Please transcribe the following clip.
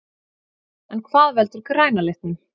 En hvað veldur græna litnum?